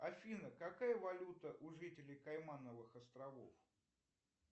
афина какая валюта у жителей каймановых островов